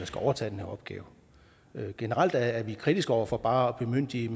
skal overtage den her opgave generelt er vi kritiske over for bare at bemyndige